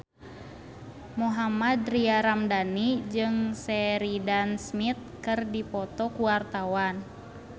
Mohammad Tria Ramadhani jeung Sheridan Smith keur dipoto ku wartawan